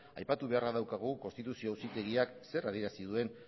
aipatu beharra daukagu konstituzio auzitegiak zer adierazi duen